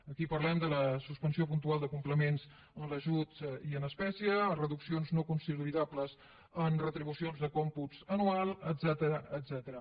aquí parlem de la suspensió puntual de complements en ajuts i en espècie reduccions no consolidables en retribucions de còmputs anuals etcètera